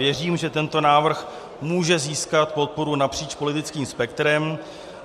Věřím, že tento návrh může získat podporu napříč politickým spektrem.